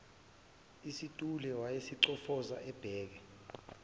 isithule wayesayicofoza ebheka